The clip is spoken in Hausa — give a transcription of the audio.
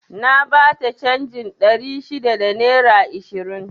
Na bata canjin ɗari shida da naira ishirin